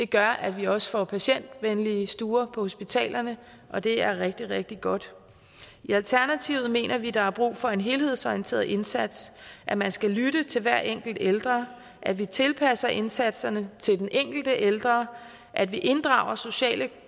gør at vi også får patientvenlige stuer på hospitalerne og det er rigtig rigtig godt i alternativet mener vi der er brug for en helhedsorienteret indsats at man skal lytte til hver enkelt ældre at vi tilpasser indsatserne til den enkelte ældre at vi inddrager sociale